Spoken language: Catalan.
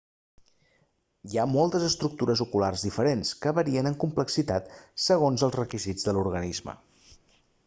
hi ha moltes estructures oculars diferents que varien en complexitat segons els requisits de l'organisme